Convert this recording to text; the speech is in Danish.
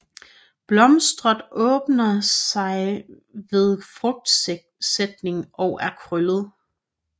Blosteret åbner sig ved frugtsætning og er kølet